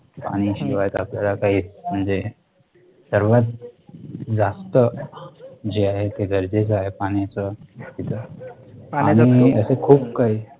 पाणी शिवाय तर आपल्याला काही म्हणजे सर्वात जास्त जे आहे ते गरजेचं आहे पाण्याचं आणि असं खूप काही